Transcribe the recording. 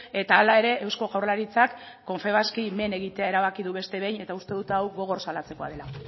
eta hala ere eusko jaurlaritzak confebaski men egitea erabaki du beste behin eta uste dut hau gogor salatzekoa dela